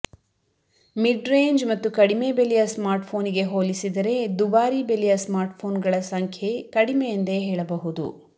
mid range ಮತ್ತು ಕಡಿಮೆ ಬೆಲೆಯ ಸ್ಮಾರ್ಟ್ಫೋನಿಗೆ ಹೋಲಿಸಿದರೆ ದುಬಾರಿ ಬೆಲೆಯ ಸ್ಮಾರ್ಟ್ಫೋನ್ಗಳ ಸಂಖ್ಯೆ ಕಡಿಮೆ ಎಂದೇ ಹೆಳಬಹುದು